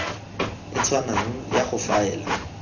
e tshwanang ya go faela